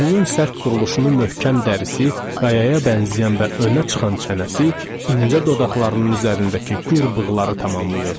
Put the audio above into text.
Üzünün sərt quruluşunu möhkəm dərsi, qayaya bənzəyən və önə çıxan çənəsi, incə dodaqlarının üzərindəki gürbığları tamamlayırdı.